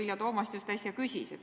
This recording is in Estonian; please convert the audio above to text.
Seda küsis äsja ka kolleeg Vilja Toomast.